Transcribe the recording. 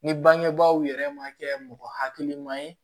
Ni bangebaaw yɛrɛ ma kɛ mɔgɔ hakiliman ye